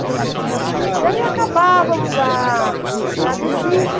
né, Daí acabávamos a... a visita.